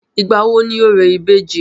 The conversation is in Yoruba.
ìgbà wo ni orò ìbejì?